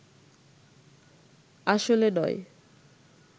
আসলে নয়